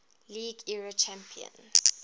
league era champions